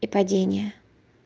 и падение